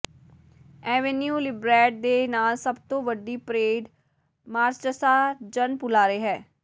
avenue ਲਿਬਰੈਡ ਦੇ ਨਾਲ ਸਭ ਤੋਂ ਵੱਡੀ ਪਰੇਡ ਮਾਰਚਸਾ ਜਨਪੁਲਾਰੇ ਹੈ